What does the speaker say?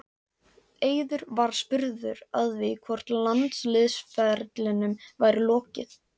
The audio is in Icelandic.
Eiður var spurður að því hvort landsliðsferlinum væri lokið?